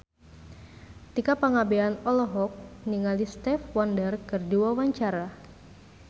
Tika Pangabean olohok ningali Stevie Wonder keur diwawancara